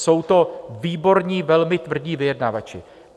Jsou to výborní velmi tvrdí vyjednavači.